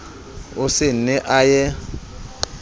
o se ne a ye